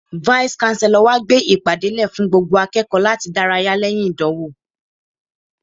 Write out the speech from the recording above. Vice-Chancellor wa gbé ìpàdé lè fún gbogbo akẹ́kọ̀ọ́ láti dárayá lẹ́yìn ìdánwò.